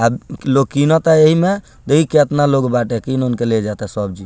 अब लोग किनता एही में देखीं केतना लोग बाटे किन-उन के ले जाता सब्जी।